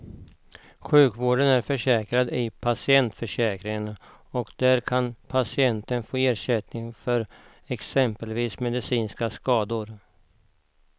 Sjukvården är försäkrad i patientförsäkringen och där kan patienten få ersättning för exempelvis medicinska skador.